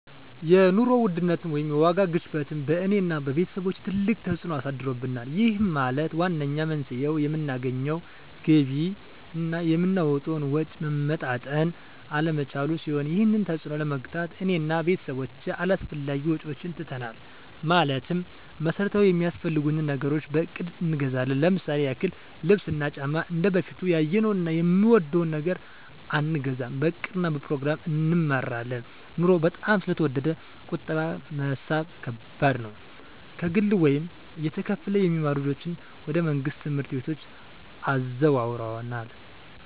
የኑሮ ውድነት ወይም የዋጋ ግሽበት በእኔ እና በቤተሰቦቸ ትልቅ ተፅእኖ አሳድሮብናል ይህም ማለት ዋነኛው መንስኤው የምናገኘው ገቢ እና የምናወጣው ወጪ መመጣጠን አለመቻሉን ሲሆን ይህንን ተፅዕኖ ለመግታት እኔ እና ቤተሰቦቸ አላስፈላጊ ወጪዎችን ትተናል ማለትም መሠረታዊ ሚያስፈልጉንን ነገሮች በእቅድ እንገዛለን ለምሳሌ ያክል ልብስ እና ጫማ እንደበፊቱ ያየነውን እና የወደድነውን ነገር አንገዛም በእቅድ እና በፕሮግራም እንመራለን ኑሮው በጣም ስለተወደደ ቁጠባ መሣብ ከባድ ነው። ከግል ወይም እየተከፈለ የሚማሩ ልጆችን ወደ መንግሥት ትምህርት ቤቶች አዘዋውረናል።